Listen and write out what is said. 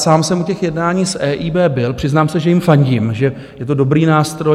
Sám jsem u těch jednání s EIB byl, přiznám se, že jim fandím, že je to dobrý nástroj.